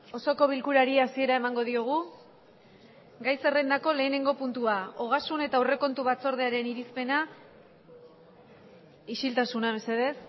osoko bilkurari hasiera emango diogu gai zerrendako lehenengo puntua ogasun eta aurrekontu batzordearen irizpena isiltasuna mesedez